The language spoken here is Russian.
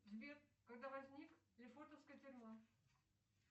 сбер когда возник лефортовская тюрьма